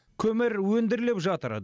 көмір өндіріліп жатыр